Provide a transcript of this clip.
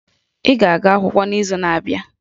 Ị ga-aga akwụkwọ n'izu na-abịa!